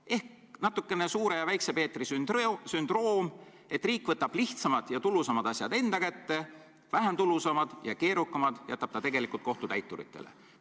Siin on nagu Suure Peetri ja Väikse Peetri sündroom: riik võtab lihtsamad ja tulusamad asjad enda kätte, vähem tulusad ja keerukamad jätab kohtutäituritele.